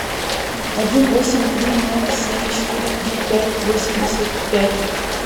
один восемь три ноль семь четыре три пять восемьдесят пять